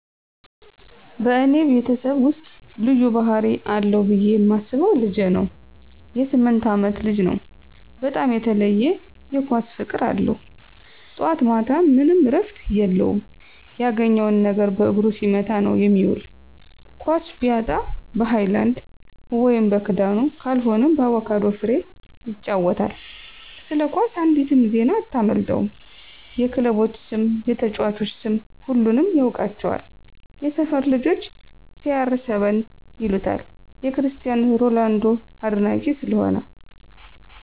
በእኔ ቤተሰብ ውስጥ ልዩ ባህሪ አለው ብየ ማስበው ልጄ ነው.የ 8አመት ልጅ ነው, በጣም የተለየ የ ኳስ ፍቅር አለው. ጠዋት ማታም ምንም እረፍት የለውም ያገኘውን ነገር በእግሩ ሲመታ ነዉ የሚዉል. ኳስ ቢያጣ በ ሀይላንድ (በክዳኑ)ካልሆነም በአቩካዶ ፍሬ ይጫወታል። ስለ ኳስ አንዲትም ዜና አታመልጠውም .የ ክለቦች ስም፣ የተጨዋቾች ስም ሁሉንም ያውቃቸዋል። የ ሰፈር ልጆች CR7 ይሉታል የ ክርስቲያን ሮላንዶ አድናቂ ስለሆነ።